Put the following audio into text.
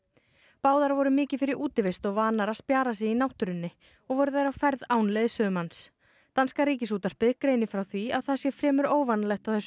báðar voru mikið fyrir útivist og vanar að spjara sig í náttúrunni og voru þær á ferð án leiðsögumanns danska Ríkisútvarpið greinir frá því að það sé fremur óvanalegt á þessu